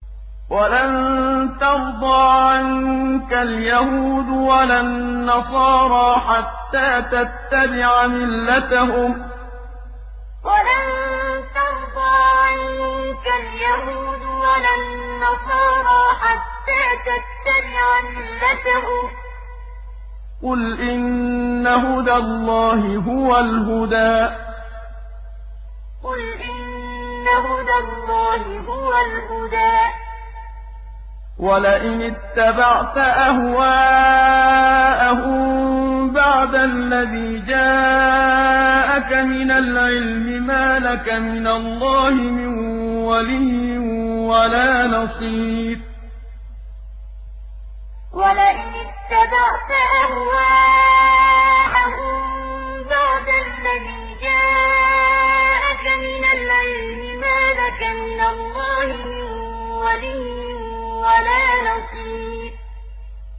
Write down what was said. وَلَن تَرْضَىٰ عَنكَ الْيَهُودُ وَلَا النَّصَارَىٰ حَتَّىٰ تَتَّبِعَ مِلَّتَهُمْ ۗ قُلْ إِنَّ هُدَى اللَّهِ هُوَ الْهُدَىٰ ۗ وَلَئِنِ اتَّبَعْتَ أَهْوَاءَهُم بَعْدَ الَّذِي جَاءَكَ مِنَ الْعِلْمِ ۙ مَا لَكَ مِنَ اللَّهِ مِن وَلِيٍّ وَلَا نَصِيرٍ وَلَن تَرْضَىٰ عَنكَ الْيَهُودُ وَلَا النَّصَارَىٰ حَتَّىٰ تَتَّبِعَ مِلَّتَهُمْ ۗ قُلْ إِنَّ هُدَى اللَّهِ هُوَ الْهُدَىٰ ۗ وَلَئِنِ اتَّبَعْتَ أَهْوَاءَهُم بَعْدَ الَّذِي جَاءَكَ مِنَ الْعِلْمِ ۙ مَا لَكَ مِنَ اللَّهِ مِن وَلِيٍّ وَلَا نَصِيرٍ